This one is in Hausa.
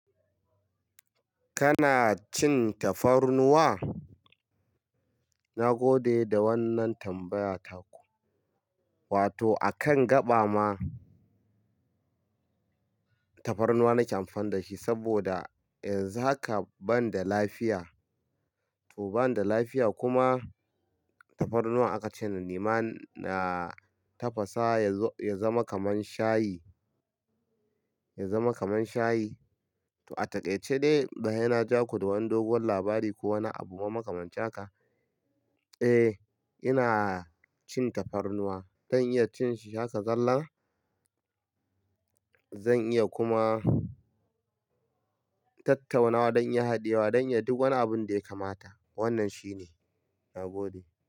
Kana cin tafarnuwa? Na gode da wannan tambaya taku. Wato a kan gaba ma tafarnuwa nake amfani da shi saboda in zaka banda lafiya, to banda lafiya kuma tafarnuwa aka ce na nema na tafasa ya zama kaman shayi, ya zama kaman shayi. To a taƙaice dai, ba sai na ja ku da wani dogon labari ko wani abu mun makamanta ka. Eh, ina cin tafarnuwa. Zan iya cin shi haka zallan. Zan iya kuma tattauna don haɗewa don ya duk wani abun da ya kamata. Wannan shine. Na gode.